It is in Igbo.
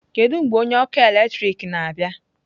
Kedu mgbe onye ọkụ eletrik na-abịa?